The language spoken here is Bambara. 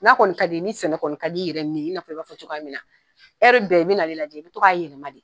N'a kɔni ka di ni sɛnɛ kɔni ka di i yɛrɛ nin i na fɔ i b'a fɔ cogoya min na, bɛɛ i bɛ na ne lajɛ, n bɛ to ka yɛlɛma de.